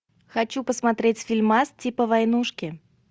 хочу посмотреть фильмас типа войнушки